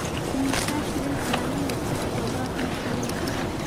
Immisa shilin ayaa la mid ah todobaatan shilin?